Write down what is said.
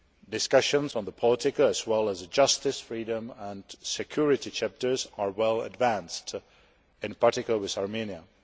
Discussions on the political as well as the justice, freedom and security chapters are well advanced, in particular with Armenia.